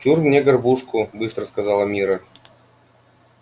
чур мне горбушку быстро сказала мирра